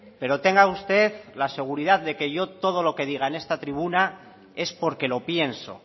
pero tenga usted la seguridad de que yo todo lo que diga en esta tribuna es porque lo pienso